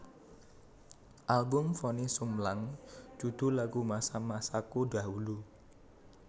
Album Vonny Sumlang judul lagu Masa masaku dahulu